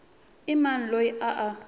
i mani loyi a a